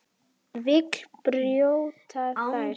Vill brjóta þær.